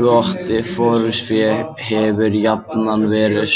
Gott forystufé hefur jafnan verið